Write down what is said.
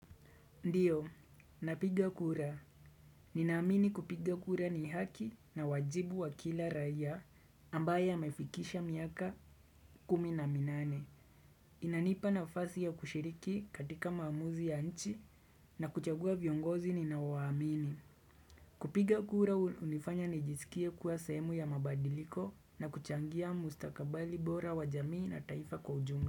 Ndiyo, napiga kura. Ninaamini kupiga kura ni haki na wajibu wa kila raiya ambaye amefikisha miaka kumi na minane. Inanipa nafasi ya kushiriki katika maamuzi ya nchi na kuchagua viongozi ninawaamini. Kupiga kura unifanya nijisikie kuwa semu ya mabadiliko na kuchangia mustakabali bora wa jamii na taifa kwa ujumla.